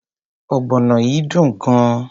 Ogbono yìí dùn gan.